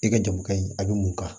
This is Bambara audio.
I ka jago ka ɲi a bɛ mun kan